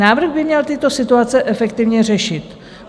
Návrh by měl tyto situace efektivně řešit.